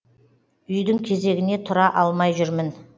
үйдің кезегіне тұра алмай жүрмін